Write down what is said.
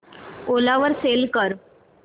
ओला वर सेल कर